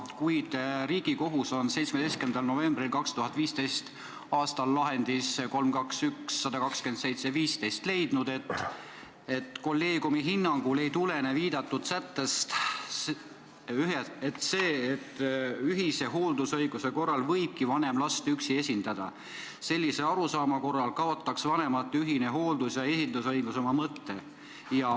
Kuid Riigikohtu tsiviilkolleegium on 17. novembri 2015. aasta lahendis 3-2-1-127-15 leidnud, et nende hinnangul ei tulene viidatud sättest see, et ühise hooldusõiguse korral võibki vanem last üksi esindada, sest sellise arusaama korral kaotaks vanemate ühine hooldus- ja esindusõigus oma mõtte.